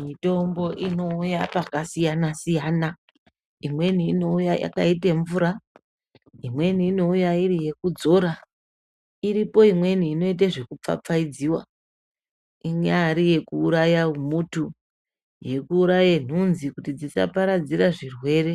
Mitombo inouya pakasiyana-siyana imweni inouya yakaite mvura, imweni inouya iri yekudzora. Iripo imweni inoite zvekupfapfaidziva. Inyari yekuuraya humutu yekuuraye nhunzi kuti dzisaparadzira zvirwere